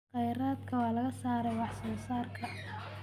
Khayraadka waa laga saaray wax soo saarka.